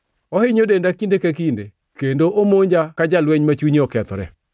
Ohinyo denda kinde ka kinde; kendo omonja ka jalweny ma chunye okethore.